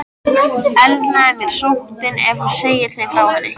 Elnaði mér sóttin, ef hún segði þeim frá henni?